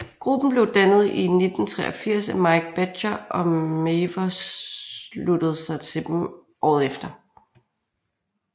Gruppen blev dannet i 1983 af Mike Badger og Mavers sluttede sig til dem året efter